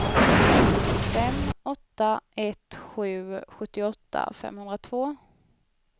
fem åtta ett sju sjuttioåtta femhundratvå